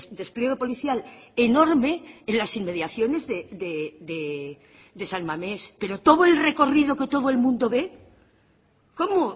despliegue policial enorme en las inmediaciones de san mamés pero todo el recorrido que todo el mundo ve cómo